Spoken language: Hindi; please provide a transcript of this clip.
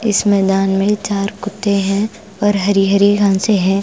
इस मैदान में चार कुत्ते हैं और हरी-हरी घासें हैं।